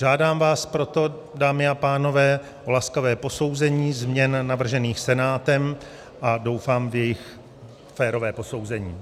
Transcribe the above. Žádám vás proto, dámy a pánové, o laskavé posouzení změn navržených Senátem a doufám v jejich férové posouzení.